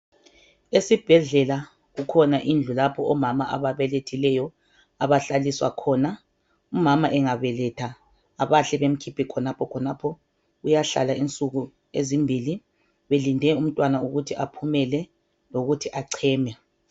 Esibhedlela kukhona indlu lapho omama ababelethileyo umama abahlaliswa khona umama engabeletha abahle bemkhiphe khonapho khonapho uyahlala insuku ezimbili belinde ukuthi umntwana aphumele lokuthi echeme.